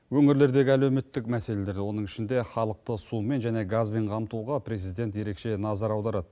өңірлердегі әлеуметтік мәселелер оның ішінде халықты сумен және газбен қамтуға президент ерекше назар аударады